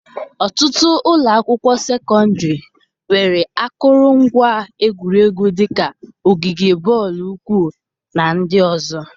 Ọtụtụ ụlọ akwụkwọ sekọndịrị nwere akụrụngwa egwuregwu dị ka ogige bọọlụ ụkwụ na ndị ọzọ.